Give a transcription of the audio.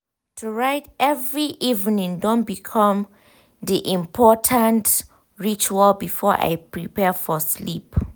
to write every evening don become de important ritual before i prepare for sleeep.